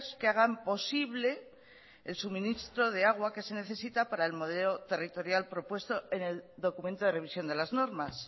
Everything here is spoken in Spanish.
que hagan posible el suministro de agua que se necesita para el modelo territorial propuesto en el documento de revisión de las normas